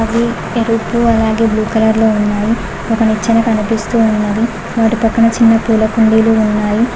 ఎరుపు అలాగే blue colour లో ఉన్నాయి ఒక నిచ్చెన కనిపిస్తూ ఉన్నది వారి పక్కన చిన్న పూల కుండీలు ఉన్నాయి.